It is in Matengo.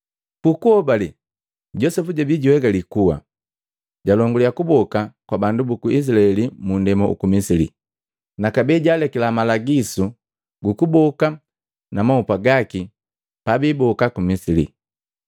Ku kuhobale Josepu jabii juegali kuwa, jalongaliya kuboka kwa bandu buku Izilaeli mu ndema uku Misili, na kabee jaalekila malagisu gu kuboka na mahupa gaki pabiiboka ku Misili.